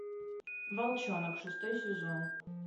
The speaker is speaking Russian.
волчонок шестой сезон